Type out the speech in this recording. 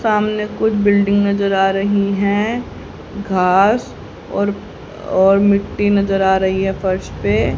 सामने कुछ बिल्डिंग नजर आ रही हैं घास और और मिट्टी नजर आ रही है फर्श पे।